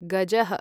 गजः